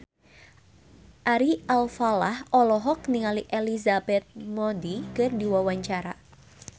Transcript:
Ari Alfalah olohok ningali Elizabeth Moody keur diwawancara